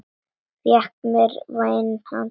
Fékk mér vænan teyg.